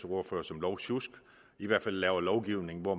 ordfører som lovsjusk laver lovgivning hvor